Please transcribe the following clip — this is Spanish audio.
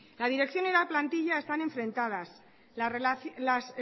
la dirección y la plantilla están enfrentadas las